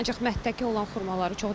Ancaq mətdəki olan xurmaları çox.